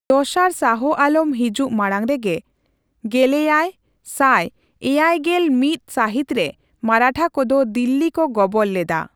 ᱫᱚᱥᱟᱨ ᱥᱟᱦᱚ ᱟᱞᱚᱢ ᱦᱤᱡᱩᱜ ᱢᱟᱲᱟᱝ ᱨᱮᱜᱮ ᱜᱮᱞᱮᱭᱟᱭ ᱥᱟᱭ ᱮᱭᱮᱭ ᱜᱮᱞ ᱢᱤᱛ ᱥᱟᱹᱦᱤᱛ ᱨᱮ ᱢᱟᱨᱟᱴᱷᱟ ᱠᱚᱫᱚ ᱫᱤᱞᱞᱤ ᱠᱚ ᱜᱚᱵᱚᱞ ᱞᱮᱫᱟ ᱾